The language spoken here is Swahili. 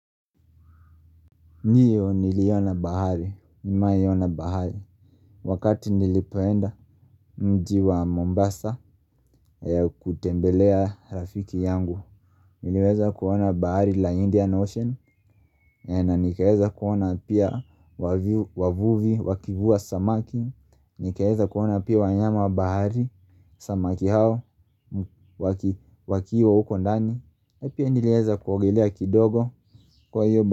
Ndio niliona bahari, nimewahi ona bahari. Wakati nilipoenda mjiwa Mombasa kutembelea rafiki yangu niliweza kuona bahari la Indian Ocean. Na nikaeza kuona pia wavuvi, wakivua samaki. Nikaeza kuona pia wanyama bahari, samaki hao, wakiwa huko ndani. Na pia niliweza kuogelea kidogo kwa hio bahari.